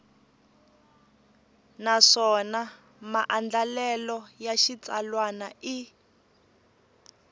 naswona maandlalelo ya xitsalwana i